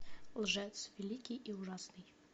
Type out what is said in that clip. лжец великий и ужасный